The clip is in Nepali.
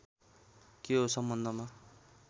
के हो सम्बन्धमा